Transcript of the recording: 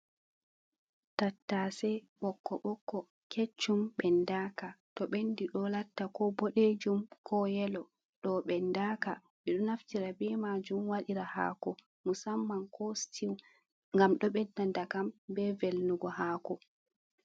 Tattase ɓokko ɓokko keccum ɓendaka, to ɓendi ɗo latta ko boɗejum ko yelo, ɗo ɓendaka, ɓe ɗo naftira be majum waɗira haako musamman ko stew, ngam ɗo ɓedda dakam be velnugo haako.